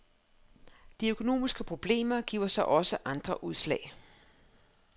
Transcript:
De økonomiske problemer giver sig også andre udslag.